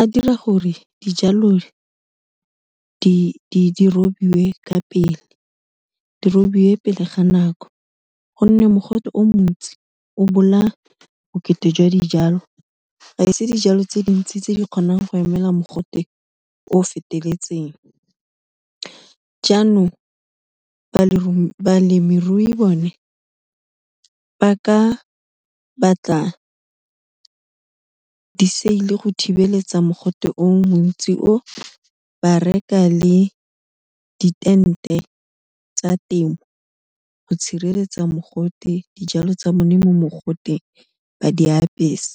a dira gore dijalo di robiwe ka pele, di robiwe pele ga nako, gonne mogote o montsi o bolaya bokete jwa dijalo. Ga se dijalo tse dintsi tse di kgonang go emela mogote o feteletseng, jaanong balemirui bone ba ka batla di-sail-e go thibeletsa mogote o montsi o, ba reka le di-tent-e tsa temo go tshireletsa mogote dijalo tsa bone mo mogoteng, ba di apesa.